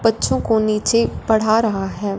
बच्चों को नीचे पढ़ा रहा है।